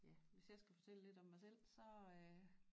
Ja hvis jeg skal fortælle lidt om mig selv så øh